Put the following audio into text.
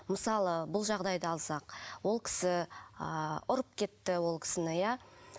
мысалы бұл жағдайды алсақ ол кісі ы ұрып кетті ол кісіні иә